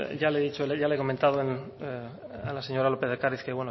ya le he dicho ya le he comentado a la señora lópez de ocariz que